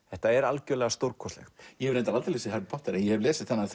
þetta er algjörlega stórkostlegt ég hef reyndar aldrei lesið Harry Potter en ég hef lesið þennan